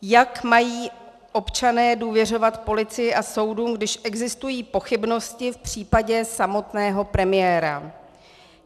Jak mají občané důvěřovat policii a soudům, když existují pochybnosti v případě samotného premiéra?